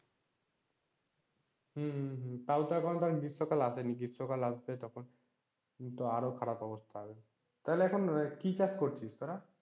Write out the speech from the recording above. হম হম হম তাও তো এখন তোর গ্রীষ্মকাল আসেনি, গ্রীষ্মকাল আসলে তখন তো আরও খারাপ অবস্থা হবে। তাহলে এখন কি চাষ করছিস তোরা?